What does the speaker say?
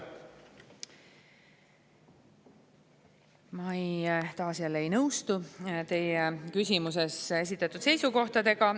Ma taas ei nõustu teie küsimuses esitatud seisukohtadega.